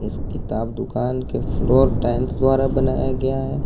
किताब दुकान के फ्लोर टाइल्स द्वारा बनाया गया है।